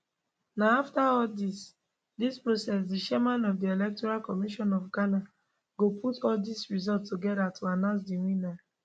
na afta all dis dis process di chairman of di electoral commission of ghana go put all dis results togeda to announce di winner